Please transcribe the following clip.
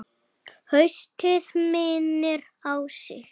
Haustið minnir á sig.